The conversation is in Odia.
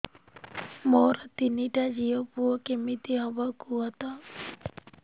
ମୋର ତିନିଟା ଝିଅ ପୁଅ କେମିତି ହବ କୁହତ